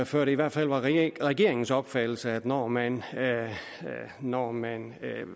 før det i hvert fald var regeringens opfattelse at når man når man